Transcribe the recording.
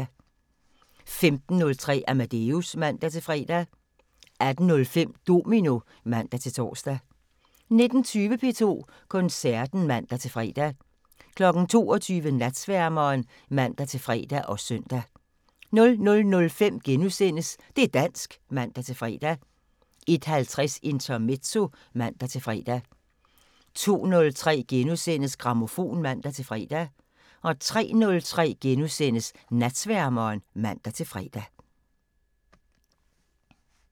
15:03: Amadeus (man-fre) 18:05: Domino (man-tor) 19:20: P2 Koncerten (man-fre) 22:00: Natsværmeren (man-fre og søn) 00:05: Det' dansk *(man-fre) 01:50: Intermezzo (man-fre) 02:03: Grammofon *(man-fre) 03:03: Natsværmeren *(man-fre)